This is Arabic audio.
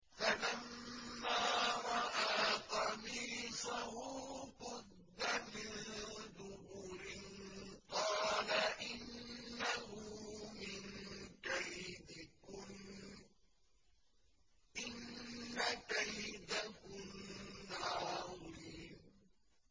فَلَمَّا رَأَىٰ قَمِيصَهُ قُدَّ مِن دُبُرٍ قَالَ إِنَّهُ مِن كَيْدِكُنَّ ۖ إِنَّ كَيْدَكُنَّ عَظِيمٌ